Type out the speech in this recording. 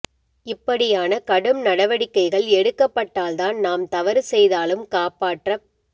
இப்படியான கடும் நடவடிக்கைகள் எடுக்கப்பட்டால் தான் நாம் தவறு செய்தாலும் காப்பாற்றப்